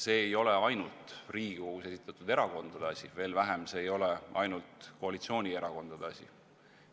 See ei ole ainult Riigikogus esindatud erakondade asi, veel vähem on see ainult koalitsioonierakondade asi.